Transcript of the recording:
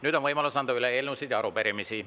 Nüüd on võimalus anda üle eelnõusid ja arupärimisi.